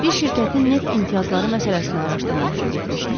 Bir şirkətin neft imtiyazları məsələsini araşdırmaq üçün getmişdim.